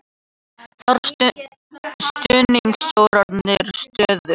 Þarf stuðning stjórnarandstöðu